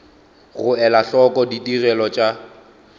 go ela hloko ditigelo tša